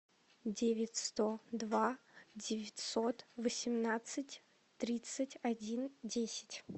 девять сто два девятьсот восемнадцать тридцать один десять